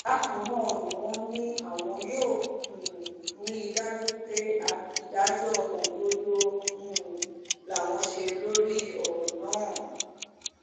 bákan náà ni wọ́n ní àwọn yóò um rí i dájú pé ìdájọ́ òdodo um làwọn ṣe lórí ọ̀rọ̀ náà